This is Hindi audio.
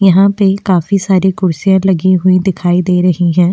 यहां पे काफी सारी कुर्सियां लगी हुई दिखाई दे रही हैं।